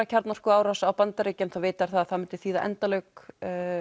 kjarnorkuárás á USA þá vita þeir að það myndi þýða endalok